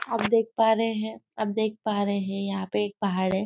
आप देख पा रहे है आप देख पा रहे है यहाँ पे एक पहाड़ है।